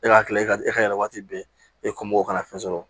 E ka kila i ka e ka yɛlɛ waati bɛɛ e kun mɔgɔw kana fɛn sɔrɔ